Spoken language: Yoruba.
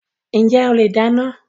Njẹ ole dáná?